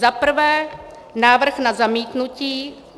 Za prvé návrh na zamítnutí.